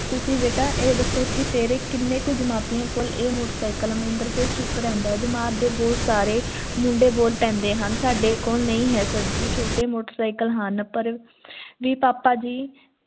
ਤੁਸੀਂ ਬੇਟਾ ਇਹ ਦੱਸੋ ਕਿ ਤੇਰੇ ਕਿਨੇਕ ਜਮਾਤੀ ਕੋਲ ਇਹ motorcycle ਹੈ ਮਨਿੰਦਰ ਫੇਰ ਚੁਪ ਰਹਿੰਦਾ ਹੈ ਜਮਾਤ ਦੇ ਬਹੁਤ ਸਾਰੇ ਮੁੰਡੇ ਬੋਲ ਪੈਂਦੇ ਹਨ ਸਾਡੇ ਕੋਲ ਨਹੀਂ ਹੈ sir ਜੀ ਛੋਟੇ motorcycle ਹਨ ਪਾਰ ਵੀ ਪਾਪਾ ਜੀ